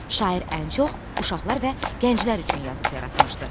Şair ən çox uşaqlar və gənclər üçün yazıb yaratmışdı.